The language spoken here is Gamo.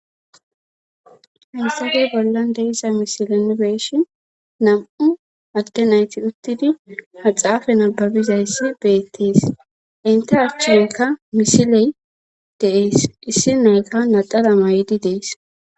insafey bollan deissa misilene beeshi nam7u agge nayti uttidi ha xaafe nababizayssi beettis inte achchunka misiley deees issi nayka nadara may7di dees